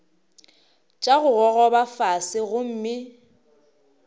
tša go gogoba fase gomme